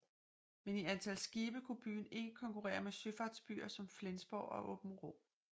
Men i antal skibe kunne byen ikke konkurrere med søfartsbyer som Flensborg og Aabenraa